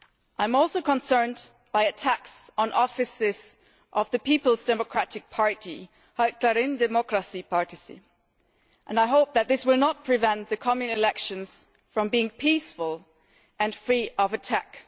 I am also concerned by attacks on offices of the People's Democratic Party, Halkların Demokratik Partisi, and I hope that this will not prevent the coming elections from being peaceful and free from attacks.